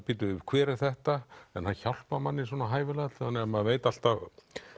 bíddu hver er þetta en hann hjálpar manni hæfilega þannig að maður veit alltaf